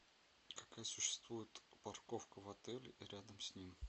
какая существует парковка в отеле и рядом с ним